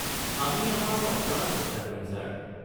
আমি আমাৰ অপ্ৰাণ চেষ্টা কৰিম ছাৰ।